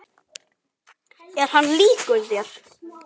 Er hann líkur þér?